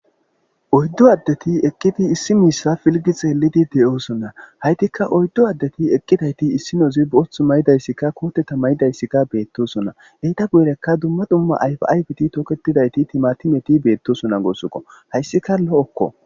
Oyddu addeti eqqidi issi mishshe filgi xellidi de'osona hayttika oyddu adeti eqqidayti issinozi sinththan boththu mayidaytika kote mayidaytika bettosona etta guyeraka dumma dumma ayfa aayfetika toketidayti timatimeti betosona gussuko hayssika lo'oko.